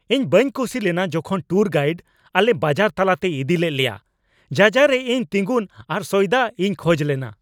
ᱤᱧ ᱵᱟᱹᱧ ᱠᱩᱥᱤ ᱞᱮᱱᱟ ᱡᱚᱠᱷᱚᱱ ᱴᱩᱨ ᱜᱟᱭᱤᱰ ᱟᱞᱮ ᱵᱟᱡᱟᱨ ᱛᱟᱞᱟᱛᱮᱭ ᱤᱫᱤ ᱞᱮᱫ ᱞᱮᱭᱟ ᱡᱟᱡᱟᱸ ᱨᱮ ᱤᱧ ᱛᱤᱸᱜᱩᱱ ᱟᱨ ᱥᱚᱭᱫᱟᱜ ᱤᱧ ᱠᱷᱚᱡ ᱞᱮᱱᱟ ᱾